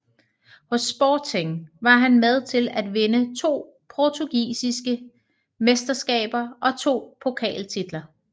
Hos Sporting var han med til at vinde to portugisiske mesterskaber og to pokaltitler